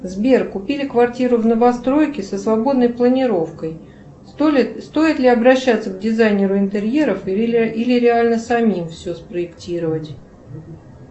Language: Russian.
сбер купили квартиру в новостройке со свободной планировкой стоит ли обращаться к дизайнеру интерьеров или реально самим все спроектировать